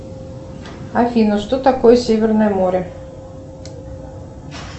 афина что такое северное море